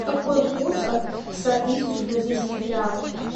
какой курс от ста тысяч бразильских реалов